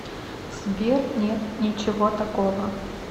сбер нет ничего такого